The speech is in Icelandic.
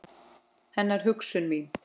Hennar hugsun mín.